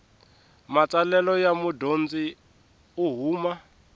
matsalelo ya mudyondzi u huma